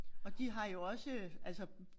Og de har jo også øh